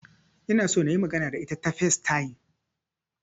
Ina so nayi magana da ita ta Facetime